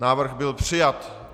Návrh byl přijat.